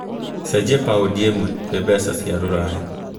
cenjĩa paũndi ĩmwe gwĩ mbeca cia rũraya